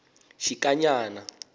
xikanyana